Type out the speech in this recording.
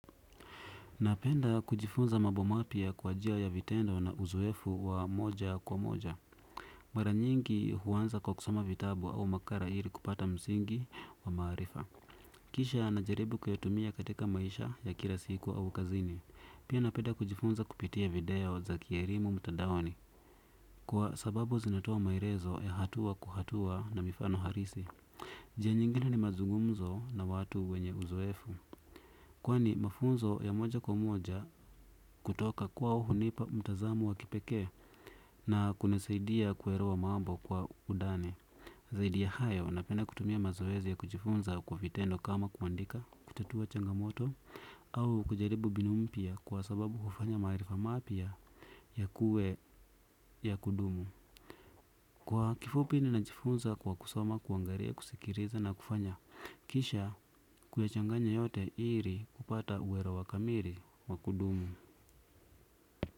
Napenda kujifunza mambo mapya kwa njia ya vitendo na uzoefu wa moja kwa moja. Mara nyingi huanza kwa kusoma vitabu au makala ili kupata msingi wa maarifa. Kisha na jaribu kuyatumia katika maisha ya kila siku au kazini. Pia napenda kujifunza kupitia video za kielimu mtadaoni. Kwa sababu zinatoa maelezo ya hatua kwa hatua na mifano halisi. Njia nyingine ni mazungumzo na watu wenye uzoefu kwani mafunzo ya moja kwa moja kutoka kwao hunipa mtazamo wa kipekee na kunisaidia kuelewa mambo kwa undani. Zaidi ya hayo na penda kutumia mazoezi ya kujifunza kwa vitendo kama kuandika kutatua changamoto au kujaribu mbinu mpya kwa sababu kufanya maarifa mapya yakuwe ya kudumu. Kwa kifupi ninajifunza kwa kusoma kuangalia kusikiliza na kufanya kisha kuyachanganya yote ili kupata kuelewa kamili wa kudumu.